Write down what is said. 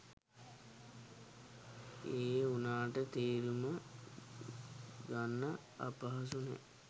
ඒ උනාට තේරුම ගන්න අපහසු නෑ.